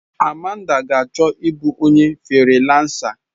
Amanda ka ga achọ ịbụ onye friiransa.